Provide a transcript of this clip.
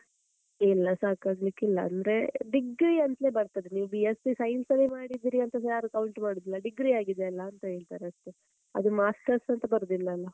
ಇಲ್ಲ ಸಾಕಾಗ್ಲಿಕ್ಕಿಲ್ಲಾ ಅಂದ್ರೆ degree ಅಂತಲೇ ಬರ್ತದೆ ನೀವ್ B.sc science ಅಲ್ಲೇ ಮಾಡಿದ್ರಿ ಅಂತಸ ಯಾರು count ಮಾಡುದಿಲ್ಲ degree ಆಗಿದೆಯಲ್ಲ ಅಂತ ಹೇಳ್ತಾರೆ ಅಷ್ಟೇ, ಅದು masters ಅಂತ ಬರುದಿಲ್ಲ ಅಲ್ಲಾ?